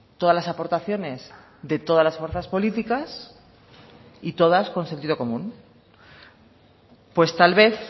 todas las aportaciones de todas las fuerzas políticas y todas con sentido común pues tal vez